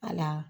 A la